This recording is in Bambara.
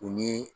U ni